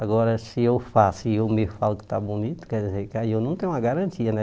Agora, se eu faço e eu mesmo falo que está bonito, quer dizer que aí eu não tenho uma garantia, né?